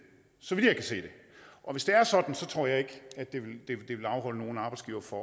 så vidt jeg kan se og hvis det er sådan tror jeg ikke at det vil afholde nogen arbejdsgivere fra